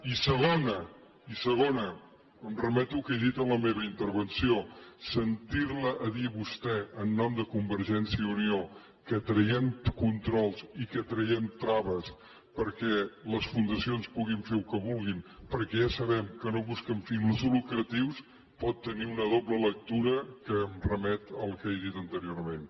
i segona i segona em remeto al que he dit en la meva intervenció sentir li dir a vostè en nom de convergència i unió que traiem controls i que traiem traves perquè les fundacions puguin fer el que vulguin perquè ja sabem que no busquen fins lucratius pot tenir una doble lectura que em remet al que he dit anteriorment